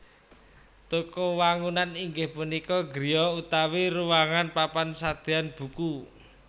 Toko wangunan inggih punika griya utawi ruwangan papan sadean buku